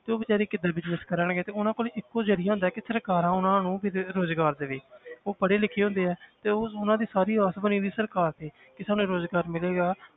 ਤੇ ਉਹ ਬੇਚਾਰੇ ਕਿੱਦਾਂ business ਕਰਨਗੇ ਉਹਨਾਂ ਕੋਲ ਇੱਕੋ ਜ਼ਰੀਆ ਹੁੰਦਾ ਕਿ ਸਰਕਾਰਾਂ ਉਹਨਾਂ ਨੂੰ ਕਿਤੇ ਤੇ ਰੁਜ਼ਗਾਰ ਦੇਵੇ ਉਹ ਪੜ੍ਹੇ ਲਿਖੇ ਹੁੰਦੇ ਹੈ ਤੇ ਉਹ ਉਹਨਾਂ ਦੀ ਸਾਰੀ ਆਸ ਬਣੀ ਹੋਈ ਸਰਕਾਰ ਤੇ ਕਿ ਸਾਨੂੰ ਰੁਜ਼ਗਾਰ ਮਿਲੇਗਾ।